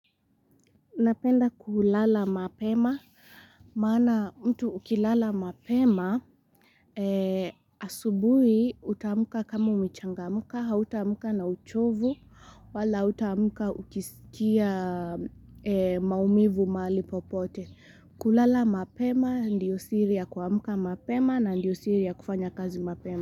Napenda kulala mapema. Maana mtu ukilala mapema, asubuhi utamka kama umechangamka, hautamka na uchovu, wala hautamka ukisikia maumivu mahali popote. Kulala mapema ndiyo siria kuamuka mapema na ndiyo siri ya kufanya kazi mapema.